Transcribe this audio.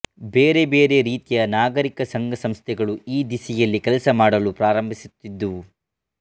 ಬೇರೆ ಬೇರೆ ರೀತಿಯ ನಾಗರಿಕ ಸಂಘ ಸಂಸ್ಥೆಗಳು ಈ ದಿಸೆಯಲ್ಲಿ ಕೆಲಸ ಮಾಡಲು ಪ್ರಾರಂಭಿಸಿದ್ದುವು